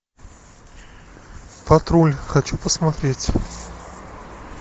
патруль хочу посмотреть